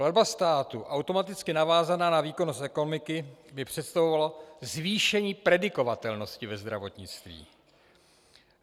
Platba státu automaticky navázaná na výkonnost ekonomiky by představovala zvýšení predikovatelnosti ve zdravotnictví.